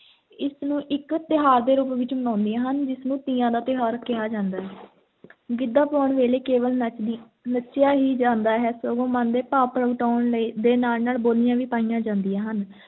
ਇਸ ਨੂੰ ਇੱਕ ਤਿਉਹਾਰ ਦੇ ਰੂਪ ਵਿੱਚ ਮਨਾਉਂਦੀਆਂ ਹਨ, ਜਿਸ ਨੂੰ ਤੀਆਂ ਦਾ ਤਿਉਹਾਰ ਕਿਹਾ ਜਾਂਦਾ ਹੈ ਗਿੱਧਾ ਪਾਉਣ ਵੇਲੇ ਕੇਵਲ ਨੱਚਦੀ, ਨੱਚਿਆ ਹੀ ਜਾਂਦਾ ਹੈ, ਸਗੋਂ ਮਨ ਦੇ ਭਾਵ ਪ੍ਰਗਟਾਉਣ ਲਈ, ਦੇ ਨਾਲ ਨਾਲ ਬੋਲੀਆਂ ਵੀ ਪਾਈਆਂ ਜਾਂਦੀਆਂ ਹਨ।